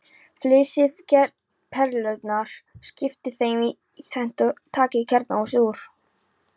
Flysjið perurnar, skiptið þeim í tvennt og takið kjarnahúsið úr.